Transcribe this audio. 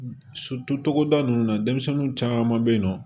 togoda ninnu na denmisɛnninw caman be yen nɔ